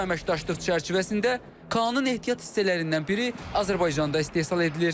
Bu əməkdaşlıq çərçivəsində KAAN-ın ehtiyat hissələrindən biri Azərbaycanda istehsal edilir.